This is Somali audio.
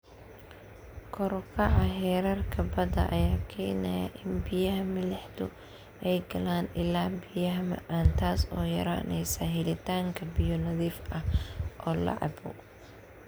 Kor u kaca heerarka badda ayaa keenaya in biyaha milixdu ay galaan ilaha biyaha macaan, taas oo yaraynaysa helitaanka biyo nadiif ah oo la cabbo.